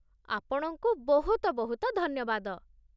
ଆପଣଙ୍କୁ ବହୁତ ବହୁତ ଧନ୍ୟବାଦ ।